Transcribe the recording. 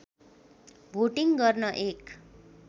voting गर्न एक